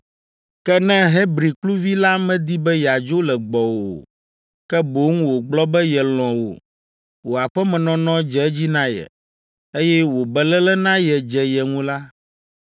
“Ke ne Hebri kluvi la medi be yeadzo le gbɔwò o, ke boŋ wògblɔ be yelɔ̃ wò, wò aƒemenɔnɔ dze edzi na ye, eye wò beléle na ye dze ye ŋu la,